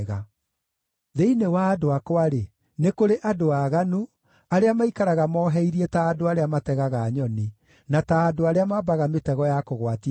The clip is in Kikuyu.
“Thĩinĩ wa andũ akwa-rĩ, nĩ kũrĩ andũ aaganu arĩa maikaraga moheirie ta andũ arĩa mategaga nyoni, na ta andũ arĩa mambaga mĩtego ya kũgwatia andũ.